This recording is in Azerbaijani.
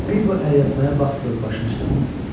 Bir bu əlyazmaya bax gör başın çıxırmı?